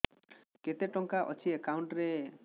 କେତେ ଟଙ୍କା ଅଛି ଏକାଉଣ୍ଟ୍ ରେ